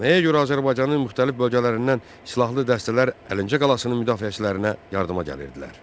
Nəyə görə Azərbaycanın müxtəlif bölgələrindən silahlı dəstələr Əlincə qalasının müdafiəçilərinə yardıma gəlirdilər?